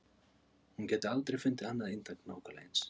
Hún gæti aldrei fundið annað eintak nákvæmlega eins.